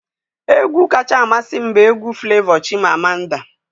Egwu kacha amasị m bụ egwu Flevọ 'Chimamanda'